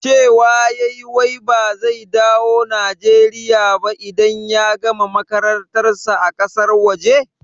Cewa yayi wai ba zai dawo Nijeriya ba idan ya gama makarantar sa a ƙasar waje?